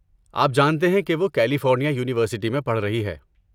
آپ جانتے ہیں کہ وہ کیلیفورنیا یونی ورسٹی میں پڑھ رہی ہے۔